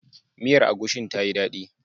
Miyar agushin ta yi dadi.